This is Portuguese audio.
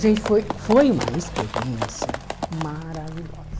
Gente, foi foi uma experiência maravilhosa.